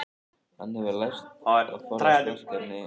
Hann hefur lært að forðast verkefni og ábyrgð.